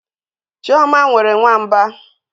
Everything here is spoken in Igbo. Chioma nwere nwamba.